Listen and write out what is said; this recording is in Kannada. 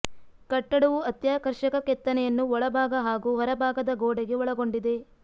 ಕಟ್ಟಡವು ಅತ್ಯಾಕರ್ಷಕ ಕೆತ್ತನೆಯನ್ನು ಒಳಭಾಗ ಹಾಗೂ ಹೊರ ಭಾಗದ ಗೋಡೆಗೆ ಒಳಗೊಂಡಿದೆ